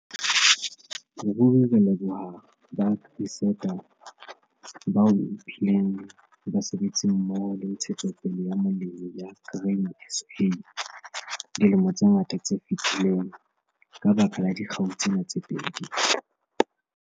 Ruri re leboha ba AgriSeta, bao e bileng basebetsimmoho le Ntshetsopele ya Molemi ya Grain SA dilemo tse ngata tse fetileng, ka baka la dikgau tsena tse pedi.